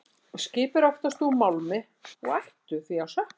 Skip eru oftast úr málmi og ættu því að sökkva.